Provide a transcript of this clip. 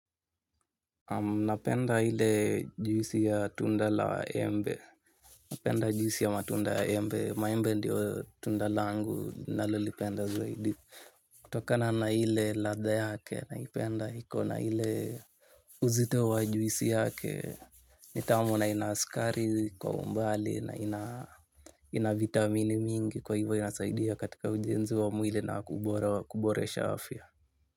Napenda ile juisi ya tunda la embe. Napenda juisi ya matunda ya embe. Maembe ndio tunda langu nalolipenda zaidi. Kutokana na ile ladha yake naipenda hiko na ile uzito wa juisi yake. Nitamu na inasukari kwa umbali na ina vitamini mingi kwa hivo inasaidia katika ujenzi wa mwili na kuboresha afia.